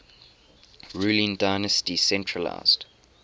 ruling dynasty centralised